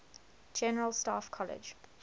general staff college